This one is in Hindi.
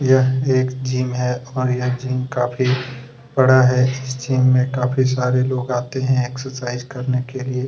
यह एक जिम हैऔर यह जिम काफी बड़ा है इस जिम में काफी सारे लोग आते है एक्सरसाइज करने के लिए।